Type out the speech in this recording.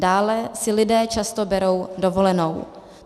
Dále si lidé často berou dovolenou.